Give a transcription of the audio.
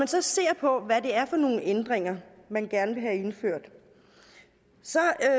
så ser på hvad det er for nogle ændringer man gerne vil have indført så er